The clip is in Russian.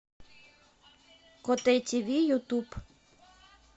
котэ тиви ютуб